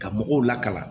Ka mɔgɔw lakana